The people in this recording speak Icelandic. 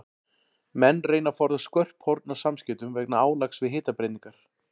Menn reyna að forðast skörp horn á samskeytum vegna álags við hitabreytingar.